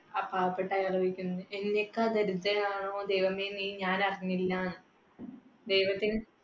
ആ പാവപ്പെട്ട ആയാൽ ചോദിക്കുന്നുണ്ട്, എന്നെക്കാൾ ദരിദ്രരാണോ ദൈവമേ നീ ഞാനറിഞ്ഞില്ല. ദൈവത്തിന്